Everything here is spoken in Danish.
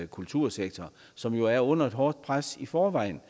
kultursektor som er under et hårdt pres i forvejen